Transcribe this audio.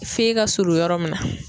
F'e ka surun yɔrɔ mun na.